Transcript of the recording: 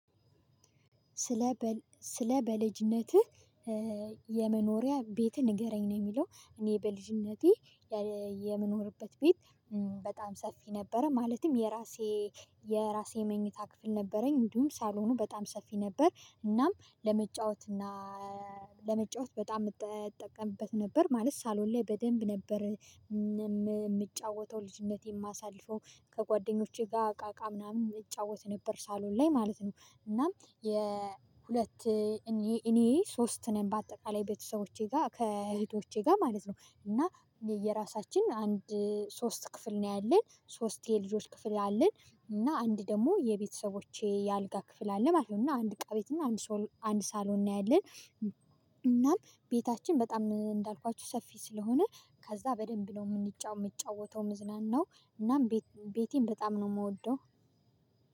ስለ ስለ በልጅነትህ የመኖሪያ ቤትህ ንገረኝ ነው የሚለው እኔ በልጅነቴ የምኖርበት ቤት በጣም ሰፊ ነበረ። ማለትም የራሴ የራሴ መኝታ ክፍል ነበረኝ፤ እድሁም ሳሎኑ በጣም ሰፊ ነበር። እናም ለመጫወት እና ለመጫወት በጣም የምትጠቀምበት ነበር ማለት ሳሎን ላይ በደንብ ነበር የምጫወተው ልጅነቴን የማሳልፈው ከጓደኞቼ ጋር አቃቃ ምናምን የሚጫወት ነበር ሳሎን ላይ ማለት ነው። እናም የሁለት እኔ ሶስት ነን በአጠቃላይ ቤተሰቦቼ ጋር ከእህቶቼ ጋር ማለት ነው። እና የየራሳችን አንድ ሶስት ክፍል ነው ያለን ሶስት የልጆች ክፍል ነው ያለን። እና አንድ ደግሞ የቤተሰቦቼ የአልጋ ክፍል አለ ማለት ነው። እና አንድ እቃ ቤት እና አንድ ሳሎን ነው ያለን። ቤታችን በጣም እንዳልኳችሁ ሰፊ ስለሆነ ከዛ በደንብ ነው የምንጫወተው የምጫወተው መዝናናው እናም ቤቴን በጣም ነው የምወደው።